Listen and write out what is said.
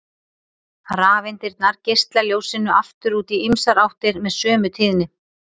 Rafeindirnar geisla ljósinu aftur út í ýmsar áttir með sömu tíðni.